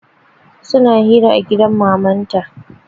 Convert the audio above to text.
Suna hira a gidan mamanta